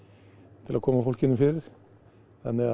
til að koma fólkinu fyrir þannig að